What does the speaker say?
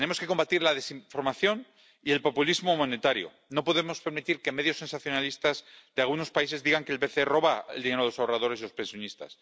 Tenemos que combatir la desinformación y el populismo monetario. No podemos permitir que medios sensacionalistas de algunos países digan que el BCE roba el dinero de los ahorradores y de los pensionistas.